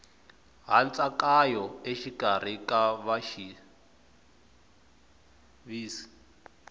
hantsakanyo exikarhi ka vaxavisi